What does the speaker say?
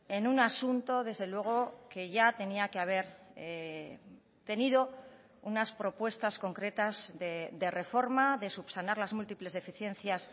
en un asunto desde luego que ya tenía que haber tenido unas propuestas concretas de reforma de subsanar las múltiples deficiencias